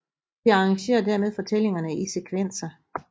De arrangere dermed fortællingerne i sekvenser